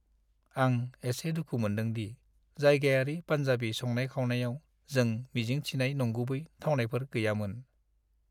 आं एसे दुखु मोनदों दि जायगायारि पान्जाबि संनाय-खावनायाव जों मिजिं थिनाय नंगुबै थावनायफोर गैयामोन।